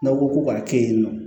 N'aw ko ko k'a kɛ yen nɔ